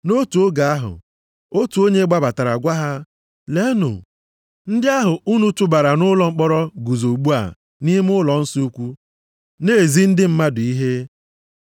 Nʼotu oge ahụ, otu onye gbabatara gwa ha, “Leenụ! Ndị ahụ unu tụbara nʼụlọ mkpọrọ guzo ugbu a nʼime ụlọnsọ ukwu na-ezi ndị mmadụ ihe.”